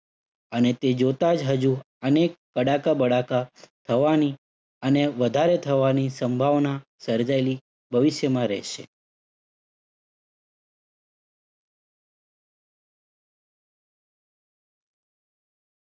અને તે જોતા જ હજુ અનેક કડાકા બડાકા થવાની અને વધારે થવાની સંભાવના સર્જાયેલી ભવિષ્યમાં રહેશે.